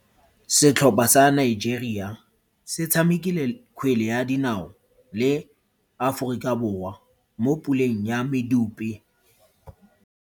Setlhopha sa Nigeria se tshamekile kgwele ya dinao le Aforika Borwa mo puleng ya medupe.